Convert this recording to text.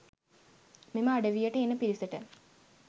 මෙම අඩවියට එන පිරිසට.